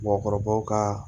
Mɔgɔkɔrɔbaw ka